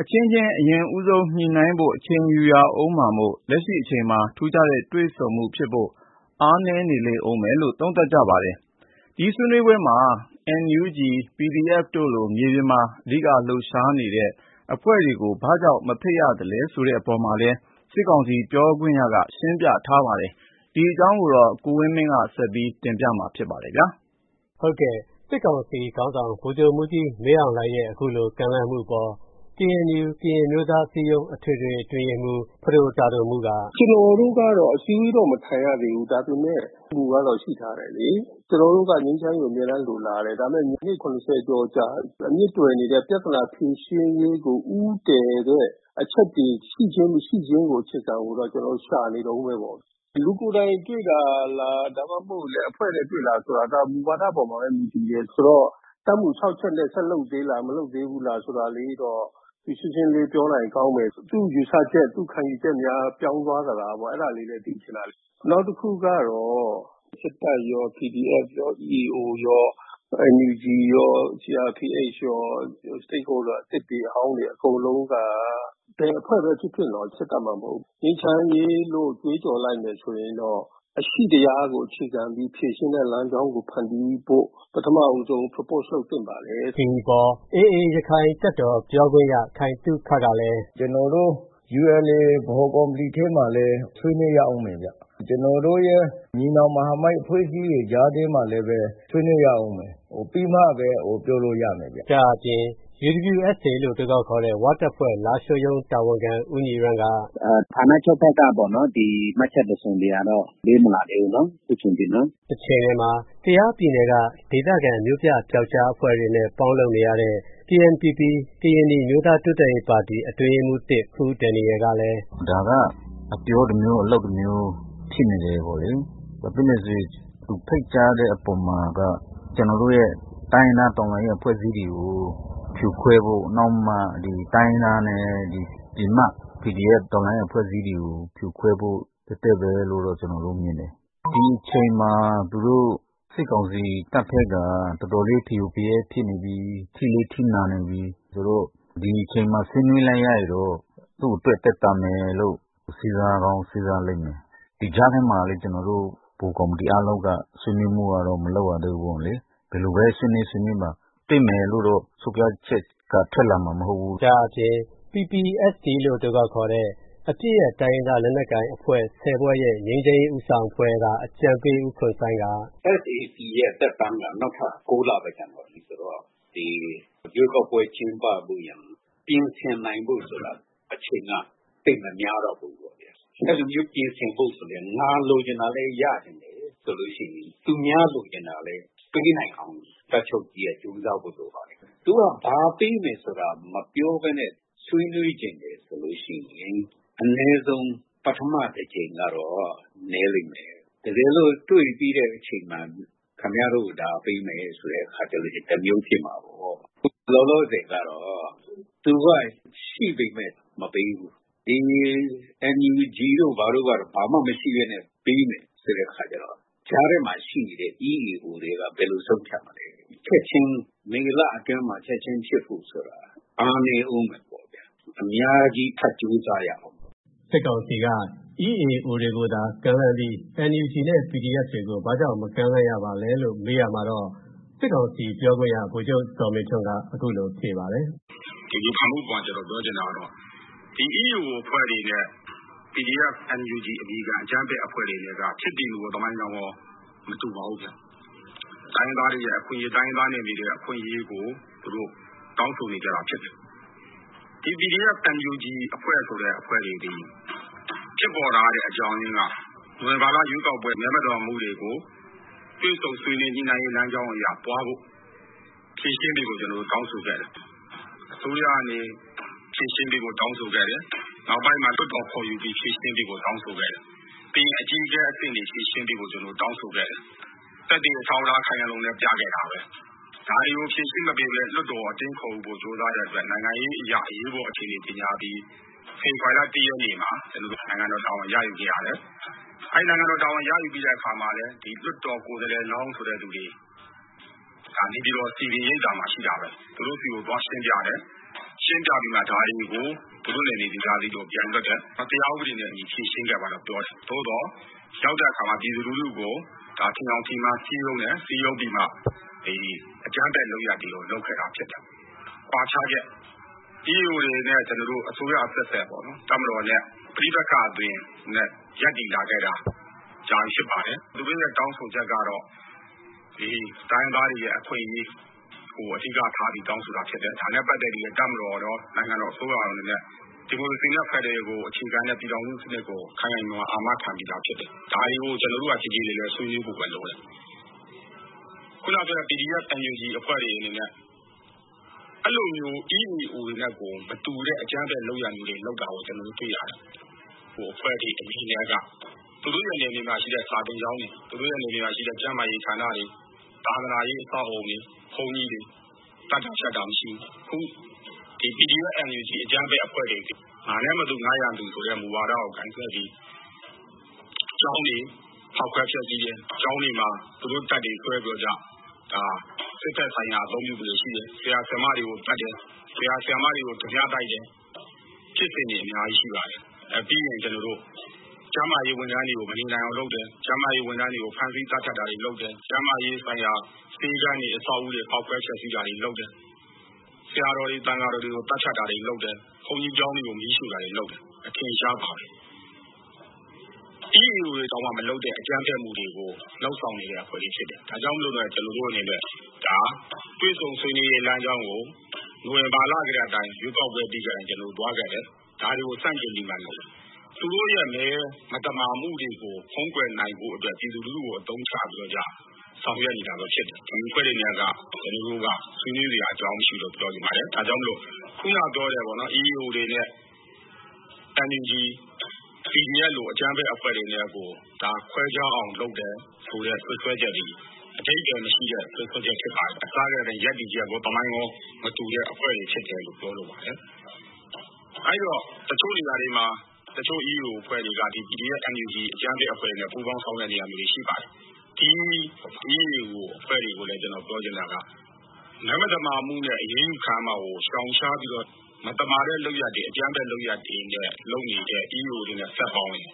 အချင်းချင်း အရင်ညှိနှိုင်းဖို့ အချိန်ယူရဦးမှာမို့ လက်ရှိအချိန်မှာ ထူးခြားတဲ့ တွေ့ဆုံမှုဖြစ်ဖို့ အားနည်းနေဦးမယ်လို့ သုံးသပ်ပါတယ်။ ဒါပေမဲ့ တချိန်မှာ အောင်မြင်တဲ့ ဆွေးနွေးပွဲ ဖြစ်ချင်ရင်တော့ လိုအပ်မှာတွေကိုလည်း သူတို့က အကြံပြုထားပါတယ်။ ဒီအကြောင်း ကိုဝင်းမင်းက ဆက်သွယ်မေးမြန်းပြီး တင်ပြထားပါတယ်။ စစ်ကောင်စီခေါင်းဆောင် ဗိုလ်ချုပ်မှူးကြီးမင်းအောင်လှိုင်ရဲ့ အခုလို ကမ်းလှမ်းမှုအပေါ် KNU ကရင်အမျိုးသားအစည်းအရုံး အထွေထွေအတွင်းရေးမှူး ပဒိုတာဒိုမူးက အခုလိုပြောပါတယ်။ “ကျနော်တို့ကတော့ အစည်းအဝေးတော့ မထိုင်ရသေးဘူး။ ဒါပေမဲ့ မူကတော့ ရှိထားတယ်လေ။ ကျနော်တို့က ငြိမ်းချမ်းရေးကို အမြဲတမ်းလိုလားတယ်။ ဒါပေမဲ့ အနှစ် ၇၀ ကျော်ကြာ အမြစ်တွယ်နေတဲ့ ပြဿနာဖြေရှင်းနည်းကို ဦးတည်တဲ့ အချက်တွေ ရှိခြင်း မရှိခြင်း အခြေခံကို ကျနော်တို့ ရှာနေတုန်းပဲပေါ့။ လူကိုယ်တိုင် တွေ့တာလား၊ ဒါမှမဟုတ်လည်း အဖွဲ့နဲ့တွေ့လား ဆိုတာ ဒါ မူဝါဒအပေါ်မှာပဲ မူတည်တယ်။ ဆိုတော့ တပ်မူ ၆ ချက်နဲ့ ဆက်လုပ်သေးလား၊ မလုပ်သေးလား ဆိုတာလေးတော့ ရှင်းရှင်းလင်းလင်း ပြောလိုက်ရင်ကောင်းမယ်။ သူ့ယူဆချက်၊ သူ့ခံယူချက်များ ပြောင်းသွားသလားပေါ့။ အဲဒါလေးလည်း သိချင်တာ။ နောက်တခုကတော့ စစ်တပ်ရော၊ PDF ရော၊ EAO ရော၊ NUG ရော၊ CRPH ရော အသစ်တွေ အဟောင်းတွေ အကုန်လုံးက ဘယ်အဖွဲ့ပဲဖြစ်ဖြစ် စစ်တပ်မှမဟုတ်ဘူး၊ ငြိမ်းချမ်းရေးလို့ ကြွေးကြော်လိုက်မယ် ဆိုရင်တော့ အရှိတရားကို အခြေခံပြီး ဖြေရှင်းတဲ့လမ်းကြောင်းကို ဖန်တီးဖို့ ပထမဦးဆုံး Propose လုပ်သင့်ပါတယ်။” ဒီအပေါ် AA ရက္ခိုင်တပ်တော် ပြောခွင့်ရ ခိုင်သုခကလည်း အခုလို တုံ့ပြန်ပါတယ်။ “ကျနော်တို့ ULA ဗဟိုကော်မတီထဲမှာလည်း ဆွေးနွေးရဦးမယ်ဗျ။ ကျနော်တို့ရဲ့ ညီနောင်မဟာမိတ် အဖွဲ့အစည်းတွေ ကြားထဲမှာလည်း ဆွေးနွေးရဦးမယ်။ ပြီးမှပဲ ပြောလို့ရမယ်။” ဒါ့အပြင် UWSA ဝတပ်ဖွဲ့ လားရှိုးရုံး တာဝန်ခံ ဦးညီရမ်းက အခုလိုပြောပါတယ်။ “ဌာနချုပ်ဘက်က မှတ်ချက်တစုံတရာတော့ ပေးမလာသေးဘူး၊ အခုချိန်ထိ။” တချိန်တည်းမှာ ကယားပြည်နယ်က ဒေသခံ မြို့ပြပြောက်ကျားအဖွဲ့တွေနဲ့ ပေါင်းလုပ်နေရတဲ့ KNPP ကရင်နီအမျိုးသား တိုးတက်ရေးပါတီ အတွင်းရေးမှူး ၁ ခူးဒန်ရီယယ်ကလည်း အခုလိုဆိုပါတယ်။ “ဒါက အပြောတမျိုး အလုပ်တမျိုး ဖြစ်နေတယ်ပေါ့လေ။ ဘာဖြစ်လို့လဲဆိုရင် သူဖိတ်ကြားတဲ့အပေါ်မှာက ကျနော်တို့ရဲ့ တိုင်းရင်းသား တော်လှန်ရေး အဖွဲ့အစည်းတွေကို ဖြိုခွဲဖို့၊ နောက်မှ တိုင်းရင်းသားနဲ့ PDF တော်လှန်ရေး အဖွဲ့အစည်းတွေကို ဖြိုခွဲဖို့ တည့်တည့်ပဲလို့ ကျနော်တို့မြင်တယ်။ ဒီအချိန်မှာ သူတို့ စစ်ကောင်စီတပ်ဘက်က တော်တော်လေး ဖရိုဖရဲဖြစ်နေပြီး အထိလည်း နာနေပြီ။ ဒီအချိန်မှာ ဆွေးနွေးလိုက်ရရင်တော့ သူ့အတွက် သက်သာမယ်လို့ စဉ်းစားကောင်း စဉ်းစားလိမ့်မယ်။ ဒီကြားထဲမှာလည်း ကျနော်တို့ ဗဟိုကော်မတီ အားလုံးက ဆွေးနွေးမှုကတော့ မလုပ်ရသေးဘူး။ ဘယ်လိုပဲဆွေးနွေး ဆွေးနွေးပါ၊ တွေ့မယ်လို့တော့ ဆုံးဖြတ်ချက်က ထွက်လာမှာမဟုတ်ဘူး။” ဒါ့အပြင် PPST အပစ်ရပ် တိုင်းရင်းသားလက်နက်ကိုင်အဖွဲ့ ၁၀ ဖွဲ့ရဲ့ ငြိမ်းချမ်းရေး ဦးဆောင်အဖွဲ့က အကြံပေး ဦးခွန်စိုင်းက အခုလိုပြောပါတယ်။ “SAC ရဲ့ သက်တမ်းက နောက်ထပ် ၉ လပဲ ကျန်တော့တယ်ဆိုတော့ ရွေးကောက်ပွဲ ကျင်းပဖို့ရန် ပြင်ဆင်နိုင်ဖို့ဆိုတာ အချိန်က သိပ်မများတော့ဘူး။ အဲလိုမျိုး ပြင်ဆင်ဖို့ဆိုရင် ငါလိုချင်တာလည်း ရသလို ဆိုလို့ရှိရင် သူများလိုချင်တာလည်း ပေးနိုင်အောင် တပ်ချုပ်ကြီးက ကြိုးစားဖို့လိုပါတယ်။ သူက ဘာပေးမယ်ဆိုတာ မပြောဘဲနဲ့ ဆွေးနွေးချင်တယ် ဆိုလို့ရှိရင် အနည်းဆုံး ပထမတကြိမ်ကတော့ နည်းလိမ့်မယ်။ တကယ်လို့ တွေ့ြ့ပီးတဲ့အချိန်မှာ ခင်ဗျားတို့ကို ဒါပေးမယ် ဆိုရင်တော့ တမျိုးဖြစ်မှာပေါ့။ လောလောဆယ်ကတော့ သူက ရှိပေမယ့် မပေးဘူး။ ဒီ NUG တို့ ဘာတို့ကတော့ ဘာမှမရှိဘဲနဲ့ ပေးမယ်ဆိုတဲ့ အခါကြတော့ ကြားထဲမှာရှိနေတဲ့ EAO တွေက ဘယ်လိုဆုံးဖြတ်မလဲ။ မေလအတွင်းမှာ ချက်ချင်းဖြစ်ဖို့ဆိုတာ အားနည်းဦးမယ်ပေါ့ဗျာ။ အများကြီး ထပ်ကြိုးစားရဦးမယ်။” စစ်ကောင်စီက EAO တွေကိုသာ ကမ်းလှမ်းပြီး NUG နဲ့ PDF တွေကို ဘာ့ကြောင့် မကမ်းလှမ်းရပါသလဲလို့ မေးရာမှာတော့ စစ်ကောင်စီ ပြောခွင့်ရ ဗိုလ်ချုပ်ဇော်မင်းထွန်းက အခုလိုဖြေပါတယ်။ “ဒီဝေဖန်မှုအပေါ်မှာ ကျနော်ပြောချင်တာကတော့ EAO အဖွဲ့တွေနဲ့ PDF, NUG အမည်ခံ အကြမ်းဖက်အဖွဲ့တွေနဲ့က ဖြစ်တည်မှုရော သမိုင်းကြောင်းရော မတူပါဘူးဗျာ။ တိုင်းရင်းသားတွေရဲ့ အခွင့်အရေး တိုင်းရင်းသား နယ်မြေတွေရဲ့ အခွင့်အရေးကို သူတို့ တောင်းဆိုနေကြတာ ဖြစ်တယ်။ ဒီ PDF, NUG ဆိုတဲ့ အဖွဲ့တွေသည် ဖြစ်ပေါ်လာတဲ့ အကြောင်းက နိုဝင်ဘာလ ရွေးကောက်ပွဲ မဲမသမာမှုတွေကို တွေ့ဆုံဆွေးနွေး ညှိနှိုင်းရေး လမ်းကြောင်းအရ သွားဖို့ ဖြေရှင်းပေးဖို့ ကျနော်တို့ တောင်းဆိုခဲ့တယ်။ အစိုးရကနေ ဖြေရှင်းပေးဖို့ တောင်းဆိုခဲ့တယ်။ နောက်ပိုင်းမှာ လွှတ်တော်ခေါ်ယူပြီး ဖြေရှင်းပေးဖို့ တောင်းဆိုခဲ့တယ်။ ပြီးရင် အကြီးအကဲအဆင့်တွေ ဖြေရှင်းပေးဖို့ ကျနော်တို့ တောင်းဆိုခဲ့တယ်။ သက်သေ အထောက်အထား ခိုင်ခိုင်လုံလုံနဲ့ ပြခဲ့တာပဲ။ ဒါတွေကို ဖြေရှင်းမပေးဘဲ လွှတ်တော်ကို အတင်းခေါ်ယူဖို့ ကြိုးစားခဲ့တဲ့အတွက် နိုင်ငံရေးအရ အရေးပေါ်အခြေအနေ ကြေညာပြီး ဖေဖော်ဝါရီလ ၁ ရက်နေ့မှာ ကျနော်တို့ နိုင်ငံတော်တာဝန် ရယူခဲ့ရတယ်။ အဲဒီ နိုင်ငံတော်တာဝန် ရယူပြီးတဲ့ အခါမှာလည်း လွှတ်တော်ကိုယ်စားလှယ်လောင်း ဆိုတဲ့သူတွေ နေပြည်တော် စည်ပင်ရိပ်သာမှာ ရှိတာပဲ။ သူတို့ဆီကို သွားရှင်းပြတယ်။ ရှင်းပြပြီးမှ ဒါတွေကို သူတို့နယ်မြေ ဒေသအသီးသီးကို ပြန်လွှတ်တယ်။ တရားဥပဒေနဲ့အညီ ဖြေရှင်းခဲ့ပါလို့ ပြောတယ်။ သို့သော် ရောက်တဲ့အခါမှာ ပြည်သူလူထုကို ထင်ယောင်ထင်မှား စည်းရုံးတယ်။ စည်းရုံးပြီးမှ အကြမ်းဖက်လုပ်ရပ်တွေကို လုပ်ခဲ့တာဖြစ်တယ်။ “ကွာခြားချက်၊ EAO တွေနဲ့ ကျနော်တို့ အစိုးရအဆက်ဆက် တပ်မတော်နဲ့ ပဋိပက္ခအသွင် ရပ်တည်လာခဲ့တာ ကြာပြီဖြစ်ပါတယ်။ သူတို့ရဲ့ တောင်းဆိုချက်ကတော့ တိုင်းရင်းသားတွေရဲ့ အခွင့်အရေးကို အဓိကထားပြီး တောင်းဆိုခဲ့တာဖြစ်တယ်။ ဒါနဲ့ပတ်သက်ပြီးလည်း တပ်မတော်ရော နိုင်ငံတော်အစိုးရရော အနေနဲ့ ဒီမိုကရေစီနဲ့ ဖက်ဒရယ် အခြေခံတဲ့ ပြည်ထောင်စုစနစ်ကို ခိုင်ခိုင်မာမာ အာမခံပြီးသား ဖြစ်တယ်။ ဒါတွေကို ကျနော်တို့က ကြေကြေလည်လည် ဆွေးနွေးဖို့ပဲ လိုတယ်။ ခုနပြောတဲ့ PDF, NUG အဖွဲ့တွေအနနေဲ့ အဲဒီလို EAO တွေနဲ့မတူတဲ့ အကြမ်းဖက်လုပ်ရပ်တွေ လုပ်တာ တွေ့ရတယ်။ ဟိုအဖွဲ့တွေ အနေနဲ့က သူတို့ရဲ့ နယ်မြေမှာရှိတဲ့ စာသင်ကျောင်းတွေ၊ သူတို့ရဲ့ နယ်မြေမှာရှိတဲ့ ကျန်းမာရေးဌာနတွေ၊ သာသနာရေး အဆောက်အဦတွေ၊ ဘုန်းကြီးတွေ သတ်တာဖြတ်တာ မရှိဘူး။ အခု PDF, NUG အကြမ်းဖက် အဖွဲ့တွေသည် ငါနဲ့မတူ ငါ့ရန်သူဆိုတဲ့ မူဝါဒကို ကိုင်စွဲပြီး ကျောင်းတွေ ဖောက်ခွဲဖျက်ဆီးတယ်။ ကျောင်းတွေမှာ သူတို့တပ်တွေစွဲပြီး စစ်ဘက်ဆိုင်ရာ အသုံးပြုမှုတွေ ရှိတယ်။ ဆရာ ဆရာမတွေကို သတ်တယ်။ ဆရာ ဆရာမတွေကို ဓားပြတိုက်တယ်။ ဖြစ်စဉ်တွေ အများကြီးရှိပါတယ်။ ပြီးရင် ကျန်းမာရေးဝန်ထမ်းတွေကို မနေနိုင်အောင် လုပ်တယ်။ ကျန်းမာရေးဝန်ထမ်းတွေကို ဖမ်းဆီး သတ်ဖြတ်တာတွေ လုပ်တယ်။ ကျန်းမာရေးဆိုင်ရာ ဆေးခန်းတွေ အဆောက်အဦတွေ ဖောက်ခွဲ ဖျက်ဆီးတာတွေ လုပ်တယ်။ ဆရာတော်တွေ သံဃာတော်တွေကို သတ်ဖြတ်တာတွေ လုပ်တယ်။ ဘုန်းကြီးကျောင်းတွေကို မီးရှို့တာတွေ လုပ်တယ်။ အထင်အရှားပါပဲ။ EAO တွေတောင် မလုပ်တဲ့ အကြမ်းဖက်မှုတွေကို လုပ်ဆောင်နေတဲ့အဖွဲ့တွေ ဖြစ်တယ်။ ဒါကြောင့်လည်း ကျနော်တို့အနေနဲ့ ဒါ တွေ့ဆုံဆွေးနွေးရေး လမ်းကြောင်းကို နိုဝင်ဘာလ ရွေးကောက်ပွဲပြီးတုန်းကအတိုင်း သွားခဲ့တယ်။ ဒါတွေကို ဆန့်ကျင်ပြီးလုပ်တယ်။ သူတို့ရဲ့ မဲမသမာမှုကို ဖုံးကွယ်နိုင်ဖို့အတွက် ပြည်သူလူထုကို အသုံးချပြီး ဆောင်ရွက်နေတာဖြစ်တယ်။ ဒီအဖွဲ့တွေနဲ့ ကျနော်တို့က ဆွေးနွေးစရာ အကြောင်းမရှိဘူးလို့ ပြောချင်ပါတယ်။ ဒါကြောင့် ခုနပြောတဲ့ EAO တွေနဲ့ NUG, PDF လို အကြမ်းဖက်အဖွဲ့တွေနဲ့ကို ခွဲခြားအောင်လုပ်တယ်ဆိုတဲ့ စွပ်စွဲချက်သည် အဓိပ္ပာယ်မရှိတဲ့ စွပ်စွဲချက် ဖြစ်ပါတယ်။ အစကတည်းက ရပ်တည်ချက်ရော သမိုင်းရော မတူတဲ့အဖွဲ့တွေဖြစ်တယ်လို့ ပြောလိုပါတယ်။ အဲဒီတော့ တချို့နေရာတွေမှာ တချို့ EAO အဖွဲ့တွေက PDF, NUG အကြမ်းဖက်အဖွဲ့တွေနဲ့ ပူးပေါင်းဆောင်ရွက်နေတာ ရှိပါတယ်။ ဒီ EAO အဖွဲ့တွေကိုလည်း ကျနော်ပြောချင်တာက မဲမသမာမှုနဲ့ အရေးယူခံရမှာကို ရှောင်ရှားပြီးတော့ မသမာတဲ့လုပ်ရပ်တွေ၊ အကြမ်းဖက်လုပ်ရပ်တွေ လုပ်နေတဲ့ EAO တွေနဲ့ ဆက်ပေါင်းရင်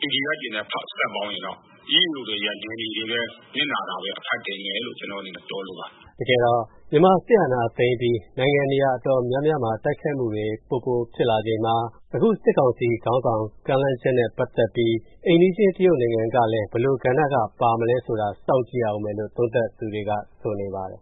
PDF တွေနဲ့ ဆက်ပေါင်းရင်တော့ EAO တွေရဲ့ နယ်မြေတွေပဲ နစ်နာတာပဲ အဖတ်တင်မယ်လို့ ကျနော့်အနေနဲ့ ပြောလိုပါတယ်။” တကယ်တော့ မြန်မာစစ်အာဏာသိမ်းပြီး နိုင်ငံနေရာ အတော်များများမှာ တိုက်ခိုက်မှုတွေ ပိုပိုဖြစ်လာချိန်မှာ အခုစစ်ကောင်စီခေါင်းဆောင် ကမ်းလှမ်းချက်နဲ့ ပတ်သက်ပြီး အိမ်နီးချင်း တရုတ်နိုင်ငံကလည်း ဘယ်လိုကဏ္ဍက ပါမလဲဆိုတာ စောင့်ကြည့်ရဦးမယ်လို့ သုံးသပ်သူတွေက ဆိုနေပါတယ်